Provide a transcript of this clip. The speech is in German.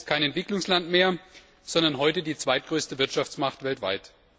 Denn China ist kein Entwicklungsland mehr, sondern heute die zweitgrößte Wirtschaftsmacht weltweit.